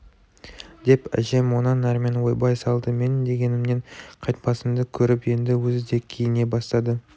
деп әжем онан әрмен ойбай салды менің дегенімнен қайтпасымды көріп енді өзі де киіне бастады